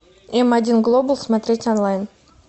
эм один глобал смотреть онлайн